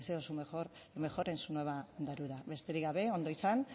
deseo lo mejor en su nueva andadura besterik gabe ondo izan